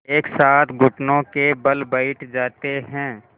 एक साथ घुटनों के बल बैठ जाते हैं